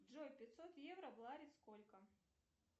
джой пятьсот евро в лари сколько